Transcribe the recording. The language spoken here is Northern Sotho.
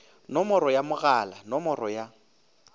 nomoro ya mogala nomoro ya